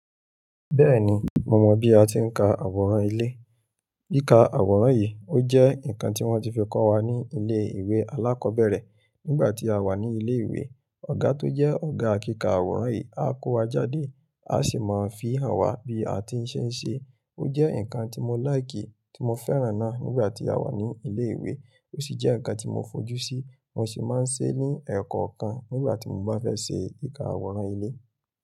Bẹ́ẹ̀ni, mo mọ̀ bí a ti ń ka àwòrán ilé. Kika àwòrán yìí ó jẹ́ ǹkan tí wọ́n ti fi kọ́ wa ní ilé ìwé alákọ̀ọ́bẹ̀rẹ̀. Nígbà tí a wà ní ilé ìwé, ọ̀gá tó jẹ́ ọ̀gá kíkà àwòrán yìí a kó wa jáde, a sì máa ń fii hàn wa bí a ti ń ṣe ń ṣe. Ó jẹ́ ǹkan tí mo láìkì tí mo fẹ́ràn náà nígbà tí a wà ní ilé ìwé, ó sì jẹ́ ǹkan tí mo fojú sí, mo sì máa ń se ní ẹ̀ẹ̀kọ̀kan nígbà tí mo bá fẹ́ ṣe kìka àwòrán ilé.